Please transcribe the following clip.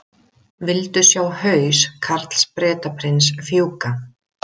Vildu sjá haus Karls Bretaprins fjúka